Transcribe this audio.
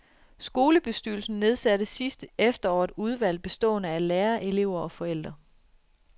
Skolebestyrelsen nedsatte sidste efterår et udvalg bestående af lærere, elever og forældre.